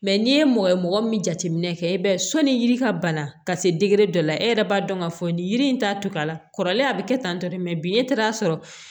Mɛ n'i ye mɔgɔ ye mɔgɔ min jateminɛ kɛ i b'a ye sɔnni yiri ka bana ka se dɔ la e yɛrɛ b'a dɔn k'a fɔ nin yiri in t'a to a la kɔrɔlen a bɛ kɛ tan tɔ de bi ne taara sɔrɔ